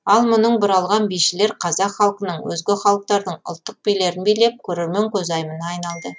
ал мұның бұралған бишілер қазақ халқының өзге халықтардың ұлттық билерін билеп көрермен көзайымына айналды